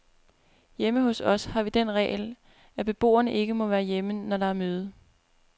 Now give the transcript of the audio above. Hjemme hos os har vi den regel, at beboerne ikke må være hjemme, når der er møde.